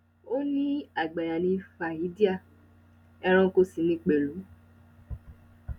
ó ní àgbáyà ni fàhédíà ẹranko sì ní pẹlú